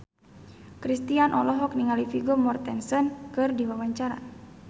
Kristina olohok ningali Vigo Mortensen keur diwawancara